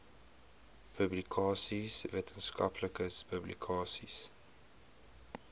publikasies wetenskaplike publikasies